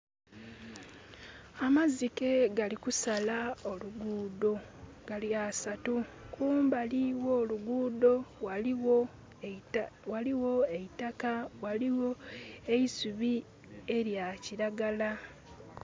Amazike galikusala oluguudo. Gali asatu. Kumbali gho'luguudo ghaligho eitaka ghaligho eisubi elyakiragala